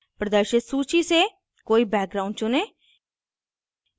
प्रदर्शित सूची से कोई background चुनें